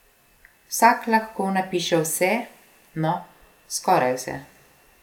Vsak lahko napiše vse, no, skoraj vse.